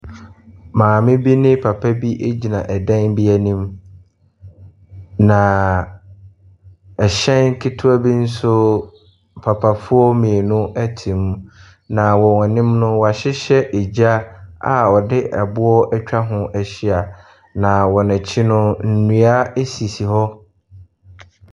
Maame ne papa bi egyina ɔdan bi anim na ɛhyɛn ketewa bi nso papafoɔ mmienu ɛte mu. Na wɔ wɔn anim no wɔahyehyɛ egya a ɔde aboa ɛtwa ho ahyia. Na wɔn akyi no nnua esisi hɔ.